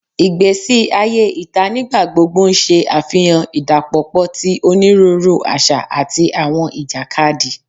Igbesi aye ita nigbagbogbo n ṣe afihan idapọpọ ti oniruuru aṣa ati awọn ijakadi